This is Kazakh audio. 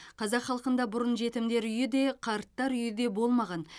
қазақ халқында бұрын жетімдер үйі де қарттар үйі де болмаған